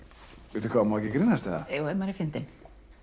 bíddu má ekki grínast eða ef maður er fyndinn